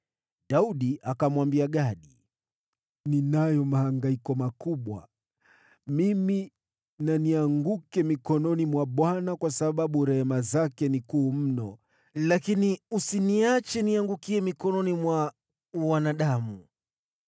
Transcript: Daudi akamwambia Gadi, “Ninayo mahangaiko makubwa. Mimi na nianguke mikononi mwa Bwana kwa maana rehema zake ni kuu mno, lakini usiniache niangukie mikononi mwa wanadamu.”